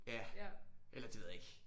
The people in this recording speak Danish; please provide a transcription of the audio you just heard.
Ja eller det ved jeg ikke